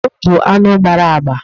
Ọdụm bụ anụ gbara agba.